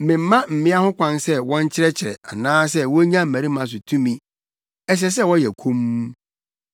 Memma mmea ho kwan sɛ wɔnkyerɛkyerɛ anaasɛ wonnya mmarima so tumi. Ɛsɛ sɛ wɔyɛ komm.